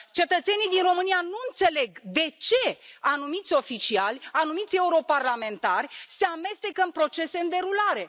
Cetățenii din România nu înțeleg de ce anumiți oficiali, anumiți europarlamentari se amestecă în procese în derulare.